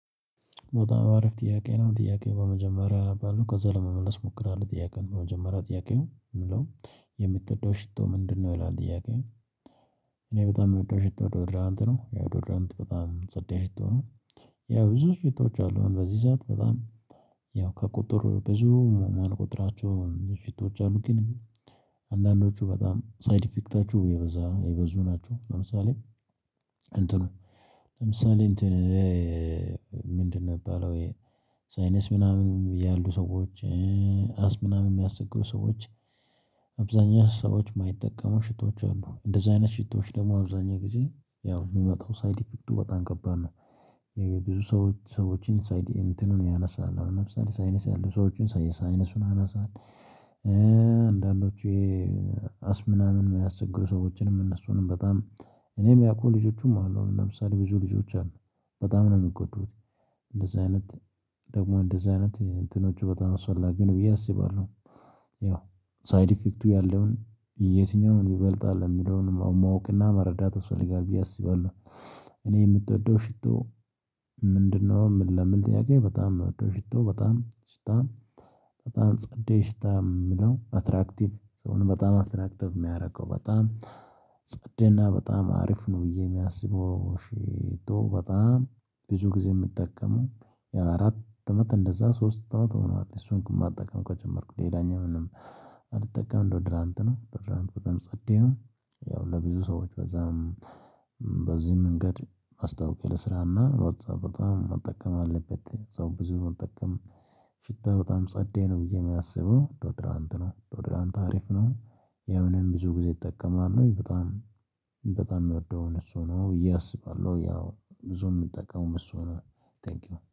በጣም አሪፍ ጥያቄ ነው ጥያቄው በመጀመሪያ አነባለው ከዛ ለመመለስ እሞክራለሁ ጥያቄውን በመጀመሪያ ጥያቄው የሚለው የምትወደው ሽቶ ምንድነው ይላል ጥያቄው። እኔ በጣም የምወደው ሽቶ ዶድራንት ነው ያው ዶድራንት በጣም ጸዴ ሽቶ ነው። ያው ብዙ ሽቶዎች አሉ በዚህ ሰዓት በጣም። ያው ከቁጥር ብዙ ማንቆጥራቸውን ሽቶዎች አሉ ግን አንዳንዶቹ በጣም ሳይድ ኢፌክታቸው የበዛ የበዙ ናቸው። ለምሳሌ እንትኑ ለምሳሌ እንትን ምንድን የሚባለው ይሄ ሳይነስ ምናምን ያሉ ሰዎች። አስም ምናምን የሚያስቸግሩ ሰዎች። አብዛኛው ሰዎች የማይጠቀሙ ሽቶዎች አሉ እንደዚህ አይነት ሽቶዎች ደግሞ አብዛኛው ጊዜ ያው የሚመጣው ሳይድ ኢፌክቱ በጣም ከባድ ነው። የብዙ ሰዎች ሰዎችን ሳይድን እንትኑን ያነሳል አሁን ለምሳሌ ሳይነስ ያለው ሰዎችን ሳይነሱን ያነሳል። አንዳንዶቹ ይሄ አስም ምናምን የሚያስቸግሩ ሰዎችንም እነሱንም በጣም እኔም ሚያቁ ልጆቹም አሉ። አሁን ለምሳሌ ብዙ ልጆች አሉ በጣም ነው የሚጎዱት። እንደዚህ አይነት ደግሞ እንደዚህ አይነት እንትኖቹ በታም አስፈላጊ ነው ብዬ አስባለሁ። ያው ሳይድ ኢፌክቱ ያለውን የትኛውን ይበልጣል የሚለውን ማወቅ እና መረዳት ያስፈልጋል ብዬ አስባለሁ። እኔ የምትወደው ሽቶ ምንድነው? ምን ለሚል ጥያቄ በጣም የምወደው ሽቶ በጣም ሽታ በጣም ጸዴ ሽታ የምለው አትራክቲቭ ሰውን በጣም አትራክቲቭ የሚያደርገው በጣም ጸዴ እና በጣም አሪፍ ነው። ብዬ የሚያስበው ሼቶ በጣም ብዙ ጊዜ የምጠቀመው አራት እመት እንደዛ ሶስት አመት ሆኗል። እሱን ማጠቀም ከጀመርኩት ሌላኛ ምንም አልጠቀምም ዶዶራንት ነው ዶዶራንት በጣም ጸዴ ነው። ያው ለብዙ ሰዎች በዛም በዚህም መንገድ ማስታውቂያ ልስራ እና በጣም በጣም መጠቀም አለበት ሰው ብዙ መጠቀም ሽታ በጣም ጸዴ ነው ብዬ የሚያስበው ዶድራንት ነው። ዶድራንት አሪፍ ነው። የሀው እኔም ብዙ ጊዜ እጠቀማለሁኝ በጣም በጣም የምወደውን እሱ ነው ብዬ አስባለሁ ያው ብዙ የምጠቀመው እሱ ነው። ቴንኪው